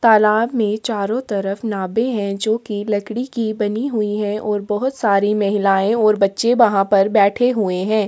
तालाब मे चारो तरफ नाबे है जो की लड़की की बनी हुई हैं और बहोत सारी महिलाए और बच्चे वहाँ पर बैठे हुए हैं।